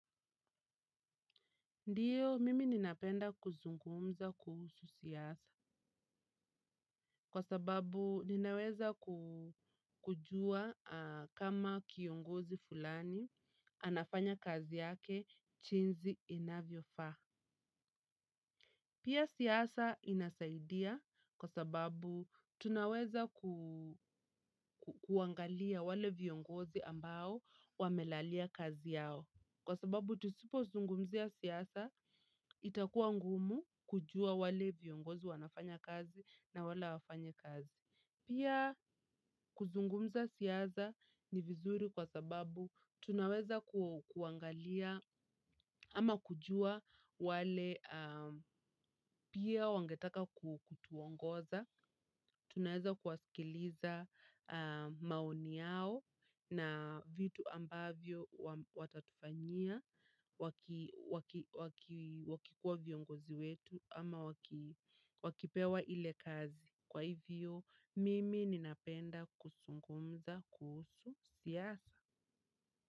Ndiyo, mimi ninapenda kuzungumza kuhusu siasa. Kwa sababu, ninaweza kujua kama kiongozi fulani, anafanya kazi yake jinsi inavyofa. Pia siasa inasaidia kwa sababu, tunaweza kuangalia wale viongozi ambao wamelalia kazi yao. Kwa sababu tusipozungumzia siasa, itakuwa ngumu kujua wale viongozi wanafanya kazi na wale hawafanyi kazi. Pia kuzungumza siasa ni vizuri kwa sababu tunaweza kuangalia ama kujua wale pia wangetaka kutuongoza. Tunaeza kuwasikiliza maoni yao na vitu ambavyo watatufanyia. Wakikuwa viongozi wetu ama wakipewa ile kazi. Kwa hivyo mimi ninapenda kusungumza kuhusu siasa.